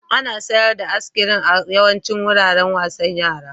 Ana sayar da iskirin a yawaicin wuraren wasan yara.